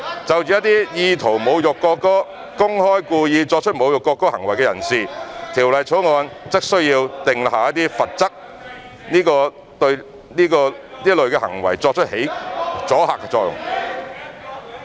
就着一些意圖侮辱國歌、公開及故意作出侮辱國歌行為的人士，《條例草案》則需要訂下罰則，對這類行為起阻嚇作用。